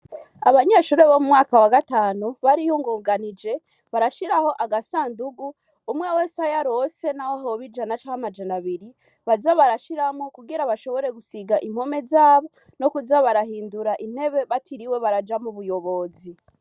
Abanyeshure bo mu mwaka wa gatanu bariyungunganije, barashiraho agasandugu, umwe wese ayo aronse n'aho hoba ijana canje amajana abiri, baze barashiramwo kugira bashobore gusiga impome za bo, no kuza barahindura intebe batiriwe baraja mu buyobozi.